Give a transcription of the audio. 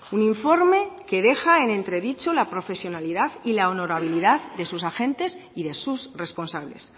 un informe que deja en entredicho la profesionalidad y la honorabilidad de sus agentes y de sus responsables